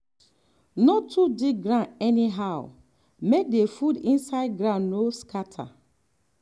no too dig ground anyhow make the food inside ground no scatter.